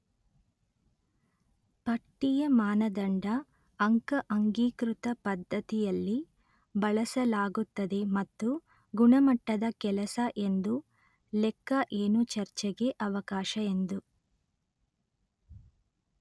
ಪಟ್ಟಿಯ ಮಾನದಂಡ ಅಂಕ ಅಂಗೀಕೃತ ಪದ್ಧತಿಯಲ್ಲಿ ಬಳಸಲಾಗುತ್ತದೆ ಮತ್ತು ಗುಣಮಟ್ಟದ ಕೆಲಸ ಎಂದು ಲೆಕ್ಕ ಏನು ಚರ್ಚೆಗೆ ಅವಕಾಶ ಎಂದು